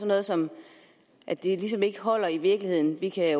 noget som ligesom ikke holder i virkeligheden vi kan